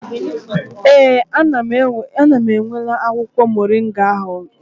Ee, ana m enwela akwụkwọ moringa ahụ ụlọ